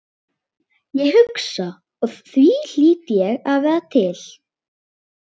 Ég hugsa og því hlýt ég að vera til.